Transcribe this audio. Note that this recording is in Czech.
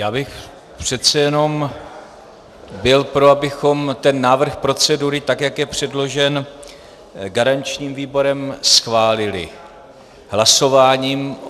Já bych přece jenom byl pro, abychom ten návrh procedury, tak jak je předložen garančním výborem, schválili hlasováním.